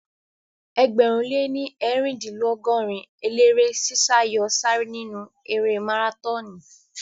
Ẹgbẹ̀rún lé ní eerindinlogorin eléré sí sá yóò sáré nínu erée márátọọnì